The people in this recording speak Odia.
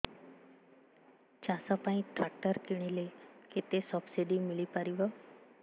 ଚାଷ ପାଇଁ ଟ୍ରାକ୍ଟର କିଣିଲେ କେତେ ସବ୍ସିଡି ମିଳିପାରିବ